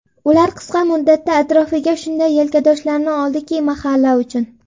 Ular qisqa muddatda atrofiga shunday yelkadoshlarni oldiki, mahalla uchun.